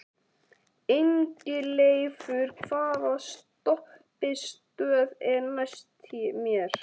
Ingileifur, hvaða stoppistöð er næst mér?